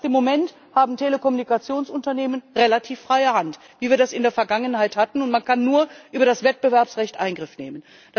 Das heißt, im Moment haben Telekommunikationsunternehmen relativ freie Hand, wie wir das auch in der Vergangenheit hatten, und man kann nur über das Wettbewerbsrecht Eingriff nehmen.